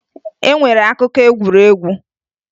E nwere akụkọ egwuregwu